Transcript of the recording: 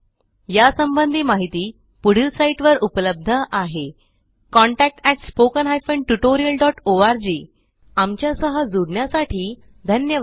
या संबंधी माहिती पुढील साईटवर उपलब्ध आहे contactspoken tutorialorg आमच्या सह जुडण्यासाठी धन्यवाद